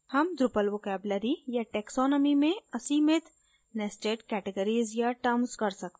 हम drupal vocabulary या taxonomy में असीमित nested categories या terms कर सकते हैं